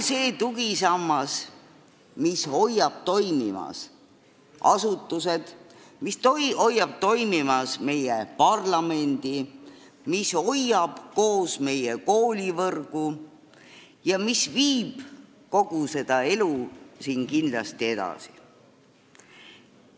See on tugisammas, mis hoiab toimimas asutused, mis hoiab toimimas meie parlamendi, mis hoiab koos meie koolivõrgu ja mis viib kogu seda elu siin kindlasti edasi.